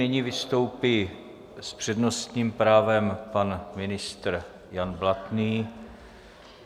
Nyní vystoupí s přednostním právem pan ministr Jan Blatný.